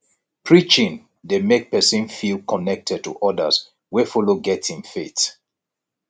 preaching dey mek pesin feel connected to odas wey follow get im faith